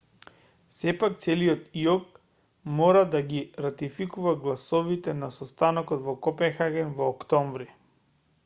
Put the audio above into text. сепак целиот иок мора да ги ратификува гласовите на состанокот во копенхаген во октомври